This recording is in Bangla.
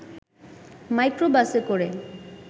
মাইক্রোবাসে করে